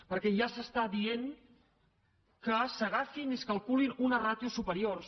perquè ja s’està dient que s’agafin i es calculin unes ràtios superiors